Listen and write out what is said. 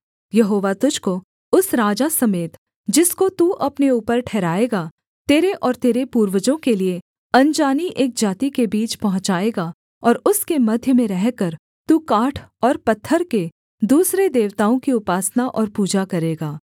यहोवा तुझको उस राजा समेत जिसको तू अपने ऊपर ठहराएगा तेरे और तेरे पूर्वजों के लिए अनजानी एक जाति के बीच पहुँचाएगा और उसके मध्य में रहकर तू काठ और पत्थर के दूसरे देवताओं की उपासना और पूजा करेगा